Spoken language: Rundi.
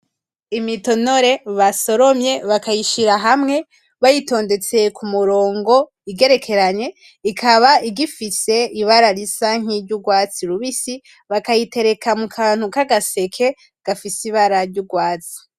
Imitonore basoromye bakayishira hamwe bayitondetse kumurongo igerekeranye ikaba igifise ibara risa nkiry'urwatsi rubisi bakayitereka mukantu kagaseke gafise ibara ry'urwatsi.